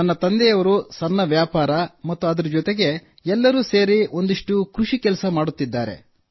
ನನ್ನ ತಂದೆ ಸಣ್ಣ ವ್ಯಾಪಾರ ಮತ್ತು ಅದರ ಜೊತೆಗೆ ಎಲ್ಲರೂ ಸೇರಿ ಒಂದಷ್ಟು ಕೃಷಿ ಕೆಲಸ ಮಾಡುತ್ತಾರೆ